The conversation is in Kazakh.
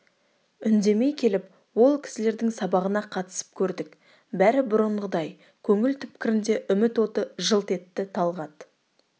үндемей келіп ол кісілердің сабағына қатысып көрдік бәрі бұрынғыдай көңіл түпкірінде үміт оты жылт етті талғат